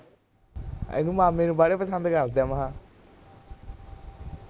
ਮਾਮੇ ਨੂੰ ਬਾਲਾ ਪਸੰਦ ਕਰਦੇ ਏ ਨਾ ਮੈ ਖਾ ਕਿਹਨੂੰ